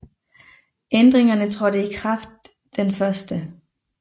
Ændringerne trådte i kraft den 1